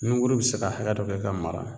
Niguru bi se ka hakɛ dɔ kɛ ka mara